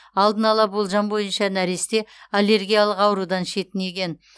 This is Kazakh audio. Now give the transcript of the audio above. алдын ала болжам бойынша нәресте аллергиялық аурудан шетінеген